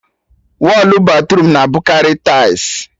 Wọlụ batruum na-abụkarị taịls